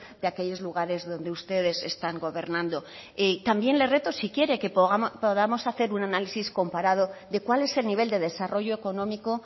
de aquellos lugares donde ustedes están gobernando también le reto si quiere que podamos hacer un análisis comparado de cuál es el nivel de desarrollo económico